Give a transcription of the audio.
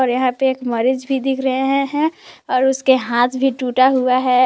यहां पे एक मरीज दिख रहे हैं और उसके हाथ भी टूटा हुआ है।